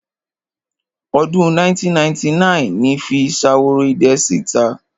Ọdún 1999 ni fi Ṣaworoidẹ sí ìta.